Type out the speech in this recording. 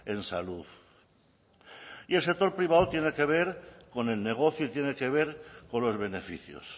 en salud y el actor privado tiene que ver con el negocio yiene que ver con los beneficios